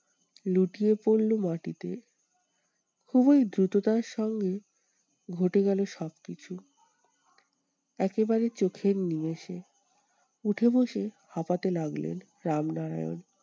লুটিয়ে পড়লো মাটিতে। খুবই দ্রুততার সঙ্গে ঘটে গেলো সবকিছু। একেবারে চোখের নিমেষে উঠে বসে হাঁপাতে লাগলেন রামনারায়ণ।